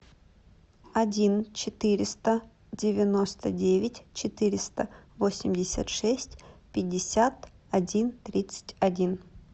один четыреста девяносто девять четыреста восемьдесят шесть пятьдесят один тридцать один